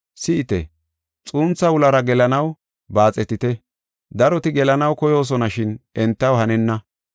“Si7ite, xuuntha wulara gelanaw baaxetite. Daroti gelanaw koyoosona shin entaw hanenna.